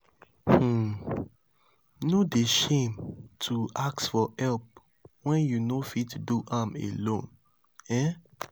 um no dey shame to ask for help wen you no fit do am alone. um